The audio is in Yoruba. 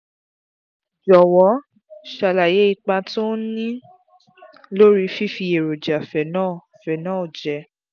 jọ̀wọ́ ṣàlàyé ipa tó ń ní lórí fífi èròjà phenol phenol jẹ